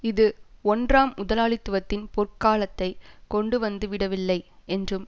இது ஒன்றாம் முதலாளித்துவத்தின் பொற்காலத்தை கொண்டுவந்துவிடவில்லை என்றும்